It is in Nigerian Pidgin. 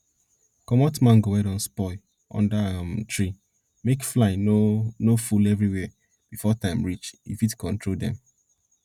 comot mango wey don spoil under um tree make fly no no full everywhere before time reach e fit control dem